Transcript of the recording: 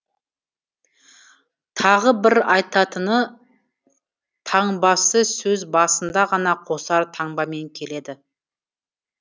тағы бір айтатыны таңбасы сөз басында ғана қосар таңбамен келеді